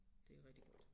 Det er rigtig godt